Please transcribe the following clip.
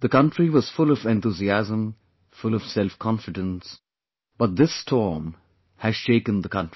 the country was full of enthusiasm, full of selfconfidence, but this storm has shaken the country